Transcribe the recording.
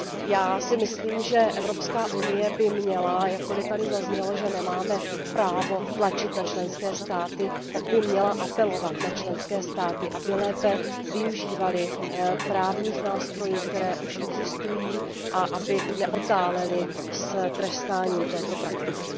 Já si myslím, že EU by měla jakkoliv tady zaznělo, že nemáme právo tlačit na členské státy apelovat na členské státy, aby lépe využívaly právních nástrojů, které už existují, a aby neotálely s trestáním této praktiky.